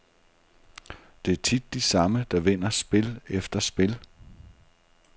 Det er tit de samme, der vinder spil efter spil.